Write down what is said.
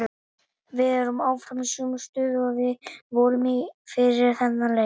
Við erum áfram í sömu stöðu og við vorum í fyrir þennan leik.